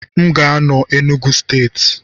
M ga-anọ na steeti Enugu